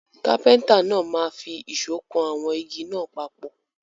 Kápẹ́ńtà náà máa fi ìṣọ́ kan àwọn igi náà papọ̀.